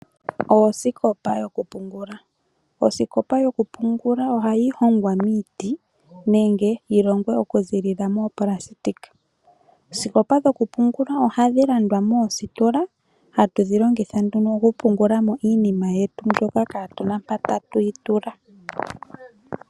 Osikopa yokupungula ohayi hongwa miiti nenge yilongwe okuza mikwaapulasitika. Oosikopa dhokupungula ohadhi landwa mositola dhoka hatu dhilongitha okupungulwa mo iinima yetu mbyoka katu mpoka tatuyi tula.